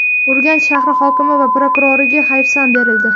Urganch shahri hokimi va prokuroriga hayfsan berildi.